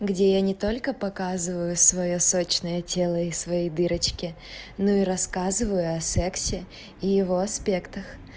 где я не только показываю своё сочное тело и свои дырочки ну и рассказываю о сексе и его аспектах